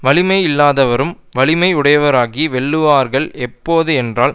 வலிமை இல்லாதவர்களும் வலிமையுடையவராகி வெல்லுவார்கள் எப்போது என்றால்